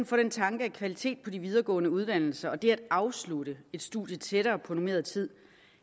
få den tanke at kvalitet på de videregående uddannelser og det at afslutte et studie tættere på normeret tid